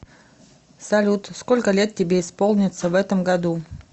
салют сколько лет тебе исполнится в этом году